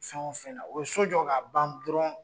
Fɛn fɛn na o bɛ so jɔ ka ban dɔrɔnw